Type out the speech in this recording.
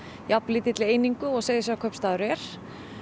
jafn lítilli einingu og Seyðisfjarðarkaupstaður er